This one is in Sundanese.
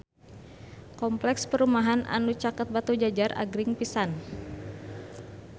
Kompleks perumahan anu caket Batujajar agreng pisan